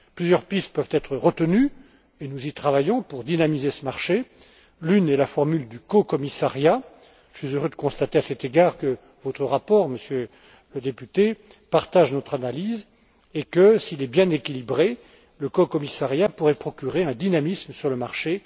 Plusieurs pistes peuvent être retenues et nous y travaillons pour dynamiser ce marché l'une est la formule du cocommissariat. Je suis heureux de constater, à cet égard, que votre rapport, Monsieur le député, partage notre analyse et que, s'il est bien équilibré, le cocommissariat pourrait procurer un dynamisme sur le marché.